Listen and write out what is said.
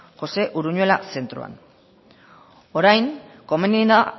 josé uruñuela zentroan orain komeni da